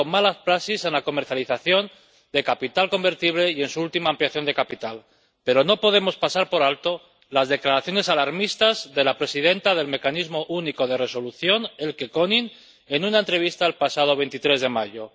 Ha habido malas praxis en la comercialización de capital convertible y en su última ampliación de capital, pero no podemos pasar por alto las declaraciones alarmistas de la presidenta del Mecanismo Único de Resolución, Elke König, en una entrevista del pasado 23 de mayo.